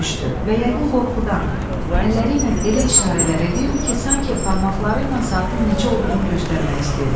Büzüşdü və yəqin qorxudan əlləri ilə elə işarələr eləyirdi ki, sanki barmaqları ilə saatın neçə olduğunu göstərmək istəyirdi.